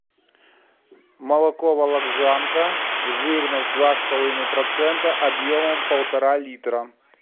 молоко вологжанка жирность два с половиной процента объемом полтора литра